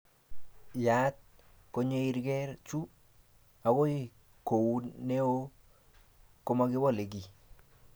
Yaat konyeeiger chu. Okoy kou noe komewolee kiy.